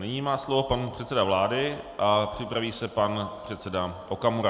Nyní má slovo pan předseda vlády a připraví se pan předseda Okamura.